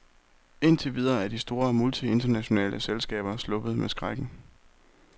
Indtil videre er de store multinationale selskaber sluppet med skrækken.